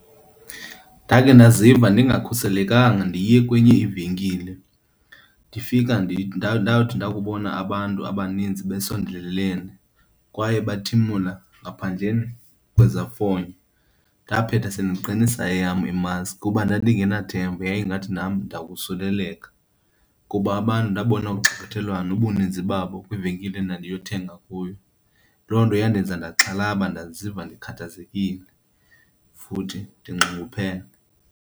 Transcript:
Ndakhe ndaziva ndingakhuselekanga ndiye kwenye ivenkile, ndifika ndawuthi ndakubona abantu abaninzi besondelelene, kwaye bathimula ngaphandleni kwezafonyo. Ndaphetha sendiqinisa eyam imaski kuba ndandingenathemba, yayingathi nam ndakusuleleka kuba abantu ndabona ugxalathelwano nobuninzi babo kwivenkile endandiyothenga kuyo. Loo nto yandenza ndaxhalaba, ndaziva ndikhathazekile futhi ndinxunguphele.